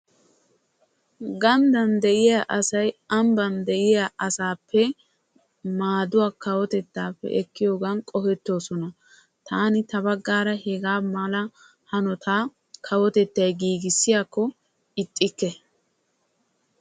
Gandday de'iya asay ambban de'iya asappe maadduwa kawotettay immiyoogan qohettosonna. Taani hagaa kawotettay giiggissiyaakko ixxikke.